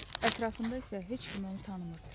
Ətrafında isə heç kim onu tanımırdı.